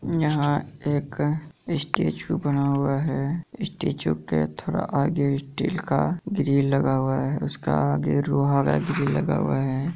यहाँ एक स्टेचू बना हुआ है स्टैचू के थोड़ा आगे स्टील का ग्रिल लगा हुआ है इस उसका आगे लोहा का ग्रिल लगा हुआ है।